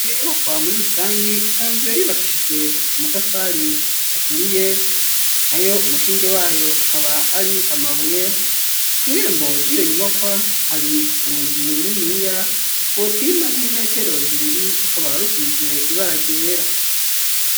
Iyo nyubakwa muri rusangi isanzwe yubakishijwe amatafari aturiye nayo umushinge wayo akaba ari amabuye kw'irembo ryiyo nyubakwa hari urugi runiniya rwopima nk'imetero zibiri rukaba rusize ibara ryera.